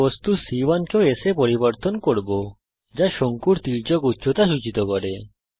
আমি বস্তু c 1 কেও s এ পরিবর্তন করব যা শঙ্কুর তির্যক উচ্চতা সূচিত করে